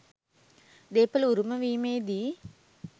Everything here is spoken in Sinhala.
දේපල උරුම වීමේදී